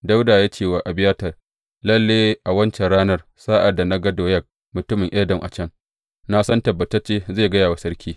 Dawuda ya ce wa Abiyatar, Lalle a wancan ranar, sa’ad da na ga Doyeg mutumin Edom a can, na san tabbatacce zai gaya wa sarki.